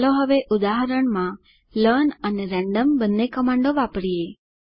ચાલો હવે ઉદાહરણમાં લર્ન અને રેન્ડમ બંને કમાન્ડો વાપરીએ